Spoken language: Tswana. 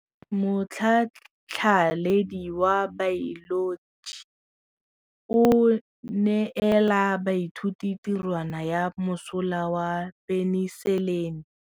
Motlhatlhaledi wa baeloji o neela baithuti tirwana ya mosola wa peniselene.